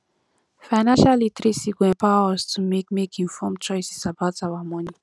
financial literacy go empower us to make make informed choices about our money